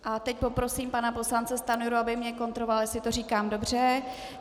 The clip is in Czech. A teď poprosím pana poslance Stanjuru, aby mě kontroloval, jestli to říkám dobře.